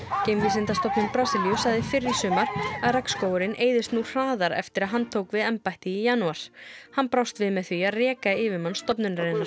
geimvísindastofnun Brasilíu sagði fyrr í sumar að eyðist nú hraðar eftir að hann tók við embætti í janúar hann brást við með því að reka yfirmann stofnunarinnar